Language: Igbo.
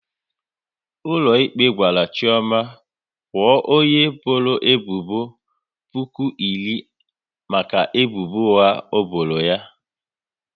Ụlọikpe gwara Chioma kwuo onye bọrọ ebubo puku iri maka ebubo ụgha o bọrọ ya